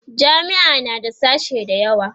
jami'a na da sashe da yawa